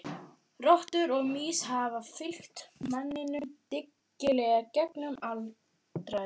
Rottur og mýs hafa fylgt manninum dyggilega gegnum aldaraðir.